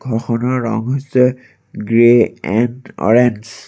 ঘৰখনৰ ৰং হৈছে গ্ৰে এন্ড অ'ৰেঞ্জ ।